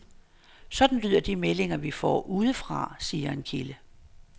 Sådan lyder de meldinger, vi får udefra, siger en kilde.